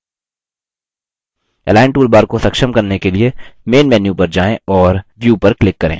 align toolbar को सक्षम करने के लिए main menu पर जाएँ और view पर click करें